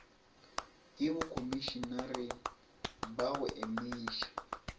ke bokhomišenare ba go eniša